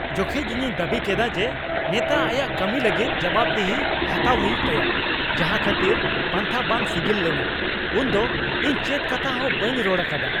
ᱡᱚᱠᱷᱮᱡ ᱤᱧᱤᱧ ᱫᱟᱹᱵᱤ ᱠᱮᱫᱟ ᱡᱮ ᱱᱮᱛᱟ ᱟᱭᱟᱜ ᱠᱟᱹᱢᱤ ᱞᱟᱹᱜᱤᱫ ᱡᱚᱵᱟᱵᱽᱫᱤᱦᱤ ᱦᱟᱴᱟᱣ ᱦᱩᱭᱩᱜ ᱛᱟᱭᱟ ᱡᱟᱸᱦᱟ ᱠᱷᱟᱹᱛᱤᱨ ᱯᱟᱱᱛᱷᱟ ᱵᱟᱝ ᱥᱤᱜᱤᱞ ᱞᱮᱱᱟ, ᱩᱱᱫᱚ ᱤᱧ ᱪᱮᱫ ᱠᱟᱛᱷᱟ ᱦᱚᱸ ᱵᱟᱹᱧ ᱨᱚᱲ ᱟᱠᱟᱫᱟ ᱾